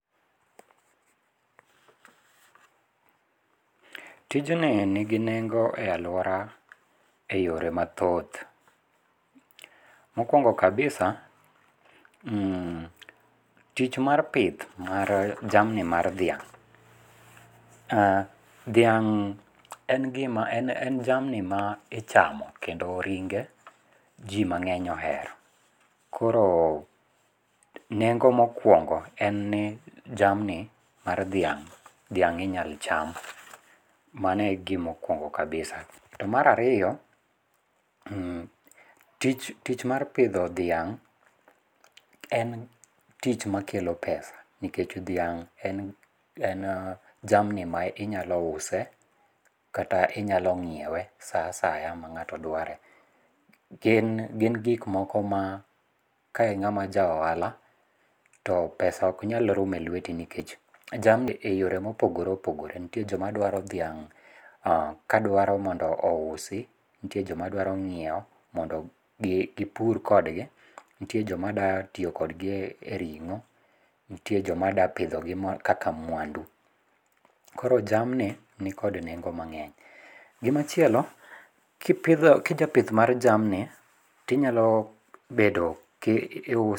Tijni nigi nengo e aluora e yore mathoth, mokuongo kabisa tich mar pith mar jamni mar dhiang', dhiang' en gima en jamni ma ichamo kendo ringe ji mang'eny ohero koro nengo mokuongo en ni jamni mar dhiang', dhiang' inyal ichamo mano e gima okuongo kabisa. To ma ariyo, tich mar pitho dhiang' en tich makelo pesa, nikech dhiang' en jamni ma inyalo use, kata inyalo nyiewe sa asaya ma ng'ato dware, gin gin gik moko ma ka ing'ama ja ohala to pesa ok nyal rumo e lweti nikech jamni e yore ma opogore opogore jomadwaro dhiang' ka dware mondo ousi nitiere joma dwaro ng'iewo mondo gipur kodgi, nitere joma dwa tiyo kodgi e ring'o nitie joma dwa pithogi kaka mwandu, koro jamni nikod neng'o mang'eny . gimachielo kipitho kijapith mar jamni tinyalo bedo ka iuse